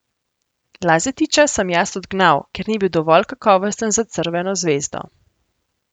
Lazetića sem jaz odgnal, ker ni bil dovolj kakovosten za Crveno zvezdo.